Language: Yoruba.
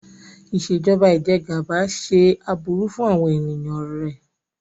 Ìṣèjọba Ìjẹgàba ṣe aburú fún àwọn ènìyàn rẹ.